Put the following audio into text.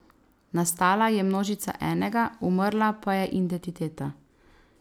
Nastala je množica enega, umrla pa je identiteta.